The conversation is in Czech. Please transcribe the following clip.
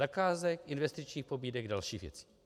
Zakázek, investičních pobídek, dalších věcí.